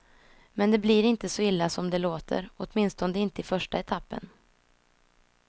Men det blir inte så illa som det låter, åtminstone inte i första etappen.